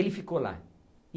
Ele ficou lá.